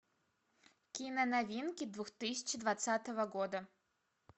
киноновинки две тысячи двадцатого года